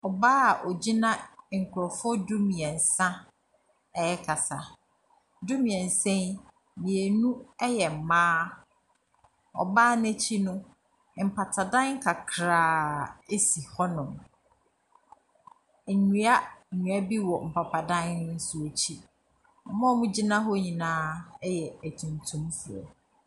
Ɔbaa a ogyina nkorɔfoɔ du mmiɛnsa ɛrekasa, du mmiɛnsa yi, mmienu yɛ mmaa. Ɔbaa n’akyi no, mpapadan kakrakaa a si hɔnom. Nnuannua bi wɔ mpapadan ne nso akyi. Wɔn a wɔgyina hɔ nyinaa yɛ atuntumfoɔ.